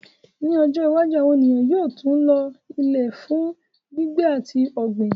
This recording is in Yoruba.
Ní ọjọ́ iwájú, àwọn ènìyàn yóò tún lo Ilẹ̀ fún gbígbé àti ọ̀gbìn.